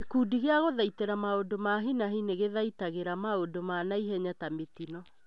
Gĩkundi gĩa gũthaitĩra maũndũ ma hi na hi nĩgĩthaitagĩra maũndũ ma naihenya ta mĩtino